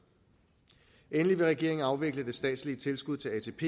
endelig vil regeringen afvikle det statslige tilskud til atp